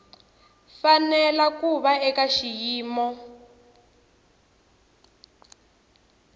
fanele ku va eka xiyimo